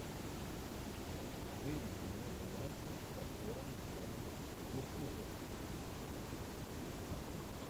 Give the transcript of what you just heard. выведи мне варианты с актером джоном туртурро